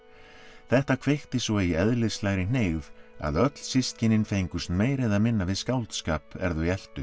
þetta kveikti svo í eðlislægri hneigð að öll systkinin fengust meira eða minna við skáldskap er þau